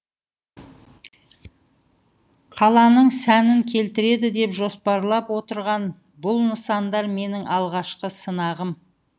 қаланың сәнін келтіреді деп жоспарлап отырған бұл нысандар менің алғашқы сынағым